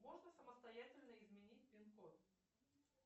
можно самостоятельно изменить пин код